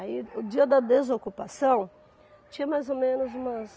Aí o dia da desocupação, tinha mais ou menos umas...